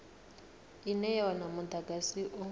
ine ya wana mudagasi u